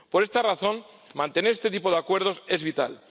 Por esta razón, mantener este tipo de acuerdos es vital.